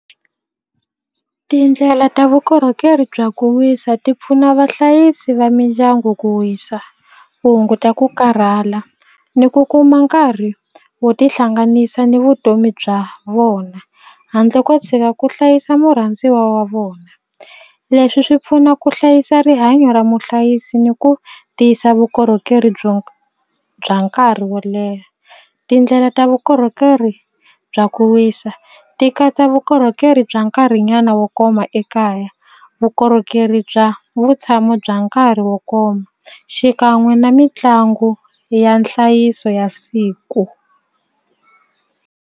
Tindlela ta vukorhokeri bya ku wisa ti pfuna vahlayisi va mindyangu ku wisa ku hunguta ku karhala ni ku kuma nkarhi wo tihlanganisa ni vutomi bya vona handle ko tshika ku hlayisa murhandziwa wa vona leswi swi pfuna ku hlayisa rihanyo ra muhlayisi ni ku tiyisa vukorhokeri byo bya nkarhi wo leha tindlela ta vukorhokeri bya ku wisa ti katsa vukorhokeri bya nkarhinyana wo koma ekaya vukorhokeri bya vutshamo bya nkarhi wo koma xikan'we na mitlangu ya nhlayiso ya siku.